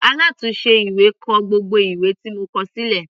Alátùnse ìwé kọ gbogbo ìwé tí mo kọ sílẹ̀.